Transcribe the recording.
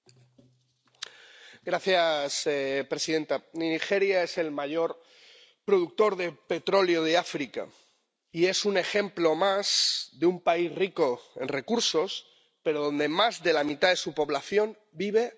Señora presidenta, Nigeria es el mayor productor de petróleo de África y es un ejemplo más de un país rico en recursos, pero en el que más de la mitad de su población vive en la pobreza.